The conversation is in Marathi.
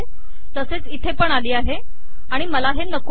तसेच इथेपण आली आहे आणि मला हे नको आहे